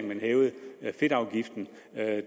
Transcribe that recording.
man hævede fedtafgiften